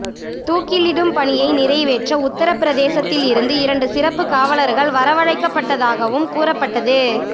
தூக்கிலிடும் பணியை நிறைவேற்ற உத்தரப்பிரதேசத்தில் இருந்து இரண்டு சிறப்பு காவலர்கள் வரவழைக்கப்பட்டதாகவும் கூறப்பட்டது